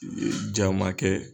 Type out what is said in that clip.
ja ma kɛ